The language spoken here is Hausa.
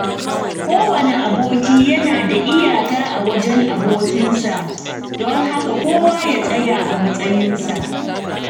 Kowane aboki yana da iyaka a wajen abokinsa, don haka kowa ya tsaya a matsayinsa.